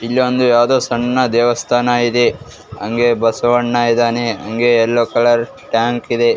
ಇಲ್ಲೊಂದು ಯಾವ್ದೊ ಸಣ್ಣ ದೇವಸ್ಥಾನ ಇದೆ ಹಂಗೆ ಬಸವಣ್ಣ ಇದಾನೆ ಹಂಗೆ ಎಲ್ಲೋ ಕಲರ್ ಸ್ಟ್ಯಾಂಪ್ ಟ್ಯಾಂಕ ಇದೆ.